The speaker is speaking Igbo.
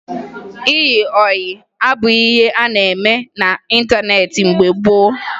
Ịyị ọyị abụghị ihe a na-eme n'ịntaneetị mgbe gboo